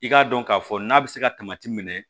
I k'a dɔn k'a fɔ n'a bɛ se ka minɛ